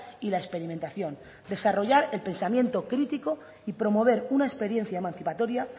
y la experimentación desarrollar el pensamiento crítico y promover una experiencia emancipatoria